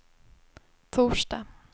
torsdag